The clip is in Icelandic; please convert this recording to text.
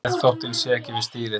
Geðþóttinn sé ekki við stýrið